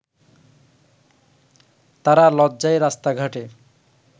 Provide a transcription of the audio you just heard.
তারা লজ্জায় রাস্তাঘাটে